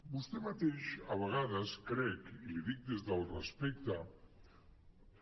vostè mateix a vegades crec i l’hi dic des del respecte